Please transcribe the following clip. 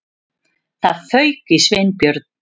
Það fauk í Sveinbjörn.